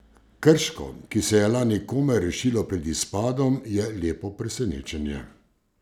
Krško, ki se je lani komaj rešilo pred izpadom, je lepo presenečenje.